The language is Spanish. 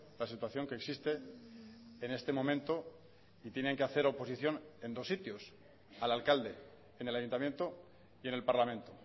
la situación que existe en este momento y tienen que hacer oposición en dos sitios al alcalde en el ayuntamiento y en el parlamento